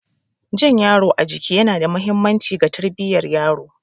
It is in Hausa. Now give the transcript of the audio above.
Jan yaro a jiki yana da mahimmanci ga tarbiyyar yaro.